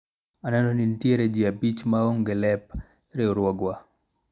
aneno ni nitiere jii abich ma onge lep riwruogwa